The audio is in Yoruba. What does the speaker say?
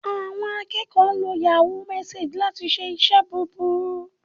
Àwọn akẹ́kọ̀ọ́ ń lo Yahoo messenger láti ṣe iṣẹ́ burúkú